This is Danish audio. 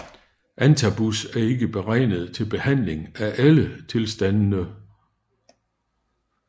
Antabus er ikke beregnet til behandling af alle tilstandene